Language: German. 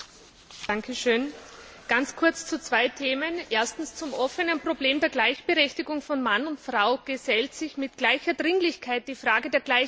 Herr Präsident! Ganz kurz zu zwei Themen. Erstens, zum offenen Problem der Gleichberechtigung von Mann und Frau gesellt sich mit gleicher Dringlichkeit die Frage der Gleichbehandlung.